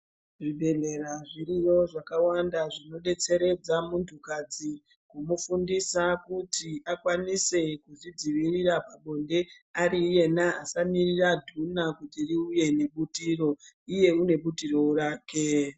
Zvibhedhlera zviriyo zvakawanda zvinodetseredza muntukadzi kumufundisa kuti akwanise kuzvidzivirira pabonde ari iyena asamirira dhuna kuti riuye nekuti iro iye une butirowo rake.